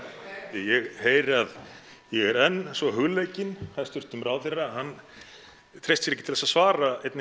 ég heyri að ég er enn svo hugleikinn háttvirtum ráðherra að hann treysti sér ekki til þess að svara einni